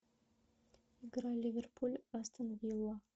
игра ливерпуль астон вилла